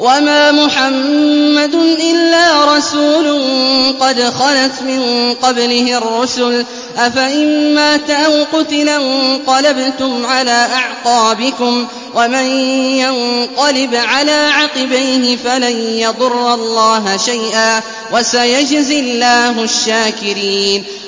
وَمَا مُحَمَّدٌ إِلَّا رَسُولٌ قَدْ خَلَتْ مِن قَبْلِهِ الرُّسُلُ ۚ أَفَإِن مَّاتَ أَوْ قُتِلَ انقَلَبْتُمْ عَلَىٰ أَعْقَابِكُمْ ۚ وَمَن يَنقَلِبْ عَلَىٰ عَقِبَيْهِ فَلَن يَضُرَّ اللَّهَ شَيْئًا ۗ وَسَيَجْزِي اللَّهُ الشَّاكِرِينَ